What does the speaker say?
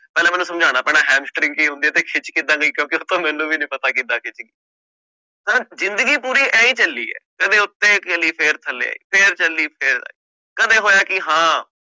ਪਹਿਲਾਂ ਮੈਨੂੰ ਸਮਝਾਉਣਾ ਪੈਣਾ ਕੀ ਹੁੰਦੀ ਹੈ ਤੇ ਖਿੱਚ ਕਿੱਦਾਂ ਦੀ ਕਿਉਂਕਿ ਉਹ ਤਾਂ ਮੈਨੂੰ ਵੀ ਨੀ ਪਤਾ ਕਿੱਦਾਂ ਦੀ ਸੀ ਜ਼ਿੰਦਗੀ ਪੂਰੀ ਇਉਂ ਹੀ ਚੱਲੀ ਹੈ ਕਦੇ ਉੱਤੇ ਚੱਲੀ ਫਿਰ ਥੱਲੇ ਆਈ, ਫਿਰ ਚੱਲੀ ਫਿਰ ਆਈ, ਕਦੇ ਹੋਇਆ ਕਿ ਹਾਂ